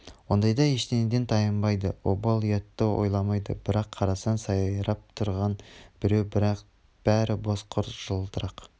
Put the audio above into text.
ондайда ештеңеден тайынбайды обал ұятты ойламайды бір қарасаң сайрап тұрған біреу бірақ бәрі бос құр жылтырақ